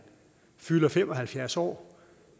fylder fem og halvfjerds år